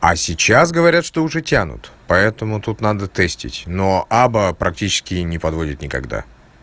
а сейчас говорят что уже тянут поэтому тут надо тестить но аба практически не подводит никогда